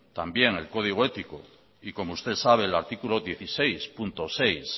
también el código ético y como usted sabe el artículo dieciséis punto seis